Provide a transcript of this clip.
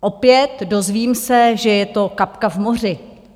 Opět, dozvím se, že je to kapka v moři.